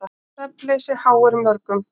Svefnleysi háir mörgum.